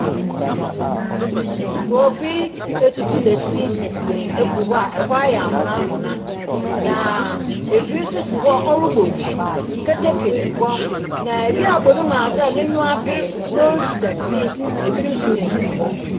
Nkrɔfo yi atutu dɛti agu hɔ a ɛhɔ ayɛ amena amena na afir si hɔ a ɔrebɔ nsu. Keteke si hɔ na obi abɔ ne mu adze a n'enyi aber na ɔretu dɛte na obi nso gyinagyina hɔ.